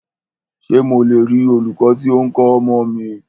Ṣé mo le rí olūkọ́ tí o ń kọ́ ọmọ mi?